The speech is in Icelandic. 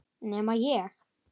Nema ég.